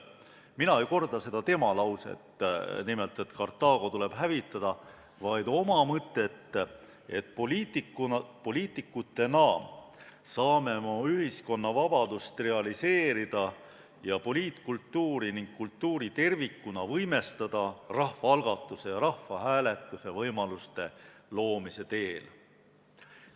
Mina ei korda seda tema lauset –nimelt, et Kartaago tuleb hävitada –, vaid kordan oma mõtet, et poliitikutena saame oma ühiskonna vabadust realiseerida ja poliitkultuuri ning kultuuri tervikuna võimestada rahvaalgatuse ja rahvahääletuse võimaluste loomise teel.